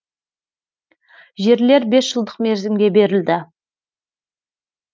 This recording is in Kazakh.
жерлер бес жылдық мерзімге берілді